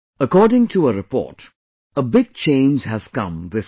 According to a report, a big change has come this year